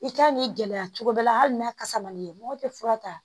I kan k'i gɛlɛya cogo dɔ la hali n'a kasa man'i ɲɛ mɔgɔ tɛ fura ta